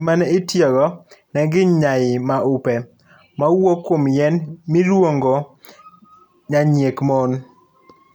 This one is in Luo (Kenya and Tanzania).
Gima ne itiyogo ne gin nyai maupe mowuok kuom yien miluongonyanyiek mon.